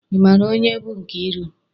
Ị maara onye bụ Nkeiru?